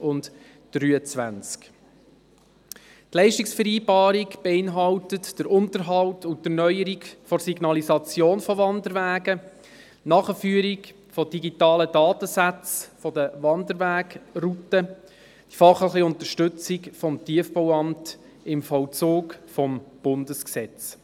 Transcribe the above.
Die Leistungsvereinbarung beinhaltet den Unterhalt und die Erneuerung der Signalisation von Wanderwegen, die Nachführung von digitalen Datensätzen der Wanderwegrouten sowie die fachliche Unterstützung des Tiefbauamtes (TBA) beim Vollzug des Bundesgesetzes.